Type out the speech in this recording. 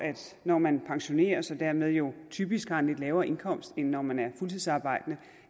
når man pensioneres og dermed jo typisk har en lidt lavere indkomst end når man er fuldtidsarbejdende